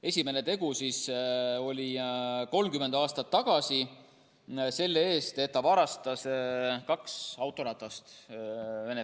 Esimene tegu oli 30 aastat tagasi, kui ta varastas Venemaa Föderatsioonis kaks autoratast.